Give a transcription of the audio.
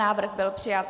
Návrh byl přijat.